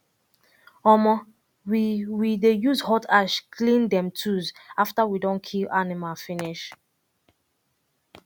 um we um we dey use hot ash clean um tools after we don kill animal finish